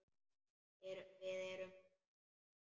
Við erum eitt.